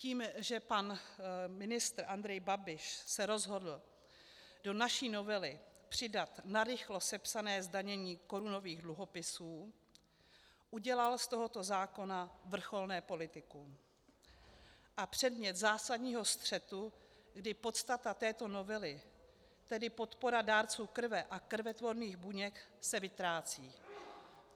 Tím, že pan ministr Andrej Babiš se rozhodl do naší novely přidat narychlo sepsané zdanění korunových dluhopisů, udělal z tohoto zákona vrcholné politikum a předmět zásadního střetu, kdy podstata této novely, tedy podpora dárců krve a krvetvorných buněk, se vytrácí.